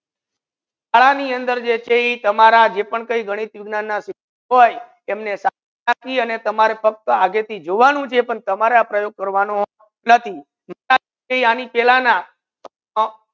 હારા ની અંદર જે છે એ તમારા જે પણ કઈ ગણિત વિઘ્નાન ના શિષક હોય તમને સાથી આને તમારા પપ્પા જેથી જુવાનો જે પણ છે પણ તમારા પ્રયોગ કરવાનુ નાથી આની પેલા ના